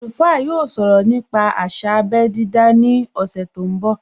Alùfá yóò sọ̀rọ̀ nípa àsà abé dídá ní ọ̀sẹ̀ tó ń bọ̀